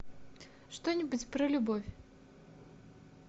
что нибудь про любовь